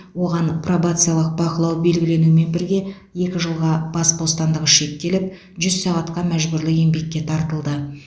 оған пробациялық бақылау белгіленумен бірге екі жылға бас бостандығы шектеліп жүз сағатқа мәжбүрлі еңбекке тартылды